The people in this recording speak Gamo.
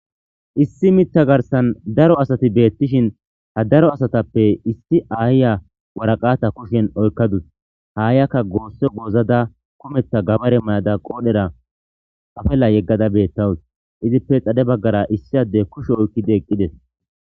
issi mitta garsan daro asati beettishin ha daro asatappe isti aayya waraqata kushen oykkadus haayiyakka goosse goozada kumeta gabare mayada qoodhera afella yeggada beettawus izippe xade baggara issi adde kushe oykkidi eqqides